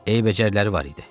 Eyibəcərləri var idi.